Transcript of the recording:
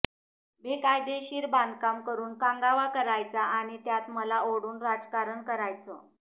बेकायदेशीर बांधकाम करुन कांगावा करायचा आणि त्यात मला ओढून राजकारण करायचं